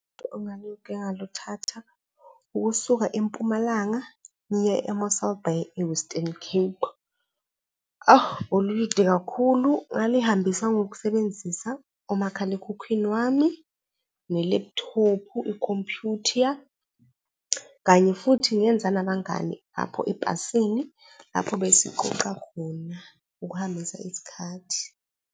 ngaluthatha ukusuka eMpumalanga ngiya e-Mossel Bay, e-Western Cape. Belulude kakhulu, ngalihambisa ngokusebenzisa umakhalekhukhwini wami ne-laptop-u, ikhompyutha, kanye futhi ngenza nabangani apho ebhasini apho besiqoqa khona ukuhambisa isikhathi.